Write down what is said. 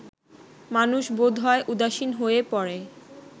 মানুষ বোধহয় উদাসীন হয়ে পড়ে